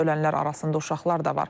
Ölənlər arasında uşaqlar da var.